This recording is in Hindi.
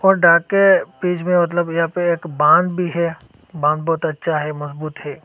और के बीच में मतलब यहां पर एक बांध भी है बांध बहुत अच्छा है मजबूत है।